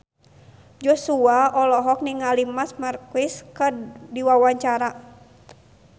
Joshua olohok ningali Marc Marquez keur diwawancara